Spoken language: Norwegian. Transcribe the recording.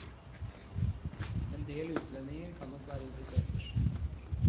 Endel utlendinger kan nok være interessert.